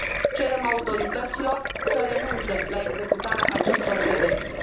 Cerem autorităților să renunțe la executarea acestor pedepse.